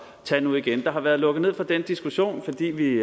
tage nu igen der har været lukket ned for den diskussion fordi vi